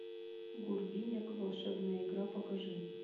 гурвинек волшебная игра покажи